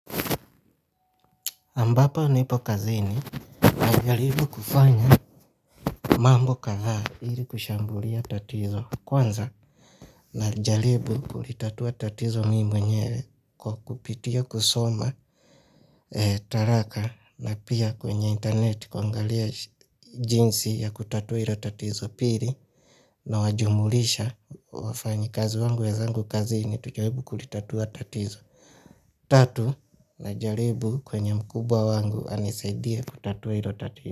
Ambapo nipo kazini na jaribu kufanya mambo kadhaa ili kushambulia tatizo kwanza na jaribu kulitatua tatizo mimi mwenyewe kwa kupitia kusoma taraka na pia kwenye internet kuangalia jinsi ya kutatua hilo tatizo, pili na wajumulisha wafanyi kazi wangu wenzangu kazini tujaribu kulitatua tatizo. Tatu na jaribu kwenye mkubwa wangu anisaidie kutatua hilo tatizo.